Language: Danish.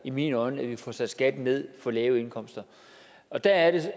i mine øjne at vi får sat skatten ned for lave indkomster der er det